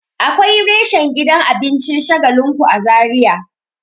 Akwai reshen gidan abincin shagalinku a zaria